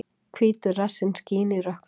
Hvítur rassinn skín í rökkrinu.